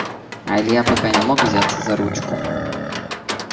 а илья пока не мог взяться за ручку